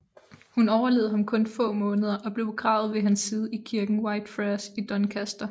Hun overlevede ham kun få måneder og blev begravet ved hans side i kirken Whitefriars i Doncaster